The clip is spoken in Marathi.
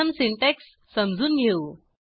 प्रथम सिंटॅक्स समजून घेऊ